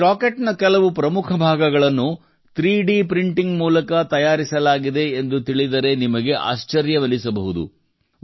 ಈ ರಾಕೆಟ್ ನ ಕೆಲವು ಪ್ರಮುಖ ಭಾಗಗಳನ್ನು 3D ಪ್ರಿಂಟಿಂಗ್ ಮೂಲಕ ತಯಾರಿಸಲಾಗಿದೆ ಎಂದು ತಿಳಿದರೆ ನಿಮಗೆ ಆಶ್ಚರ್ಯವೆನಿಸಬಹುದು